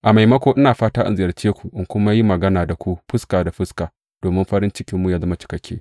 A maimako, ina fata in ziyarce ku in kuma yi magana da ku fuska da fuska, domin farin cikinmu yă zama cikakke.